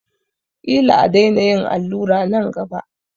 Ƙila a daina yin allura nan gaba.